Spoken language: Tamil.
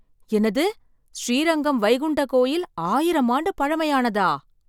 என்னது! ஸ்ரீரங்கம் வைகுண்ட கோயில் ஆயிரம் ஆண்டு பழமையானதா!